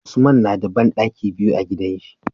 Usman nada banɗaki biyu a gidan shi